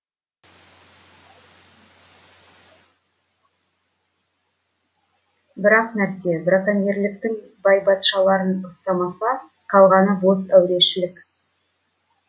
бір ақ нәрсе браконьерліктің байбатшаларын ұстамаса қалғаны бос әурешілік